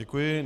Děkuji.